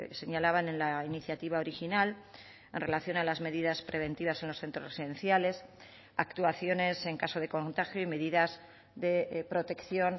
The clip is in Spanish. señalaban en la iniciativa original en relación a las medidas preventivas en los centros esenciales actuaciones en caso de contagio y medidas de protección